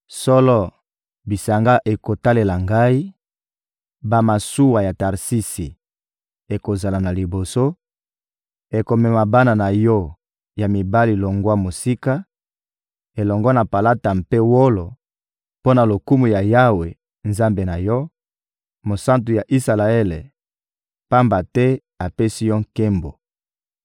Solo, bisanga ekotalela Ngai; bamasuwa ya Tarsisi ekozala na liboso, ekomema bana na yo ya mibali longwa mosika, elongo na palata mpe wolo, mpo na lokumu ya Yawe, Nzambe na yo, Mosantu ya Isalaele; pamba te apesi yo nkembo.